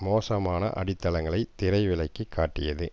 மோசமான அடித்தளங்களை திரை விலக்கி காட்டியது